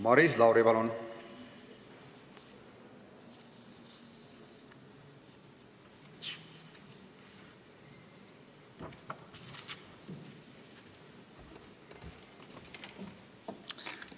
Maris Lauri, palun!